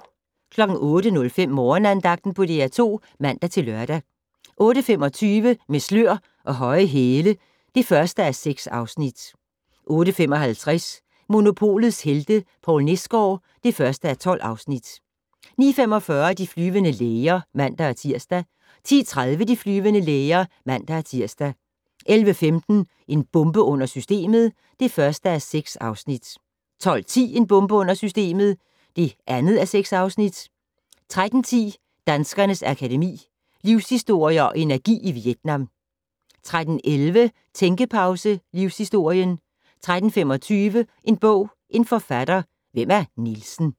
08:05: Morgenandagten på DR2 (man-lør) 08:25: Med slør og høje hæle (1:6) 08:55: Monopolets helte - Poul Nesgaard (1:12) 09:45: De flyvende læger (man-tir) 10:30: De flyvende læger (man-tir) 11:15: En bombe under systemet (1:6) 12:10: En bombe under systemet (2:6) 13:10: Danskernes Akademi: Livshistorier & Energi i Vietnam 13:11: Tænkepause - Livshistorien 13:25: En bog, en forfatter - Hvem er Nielsen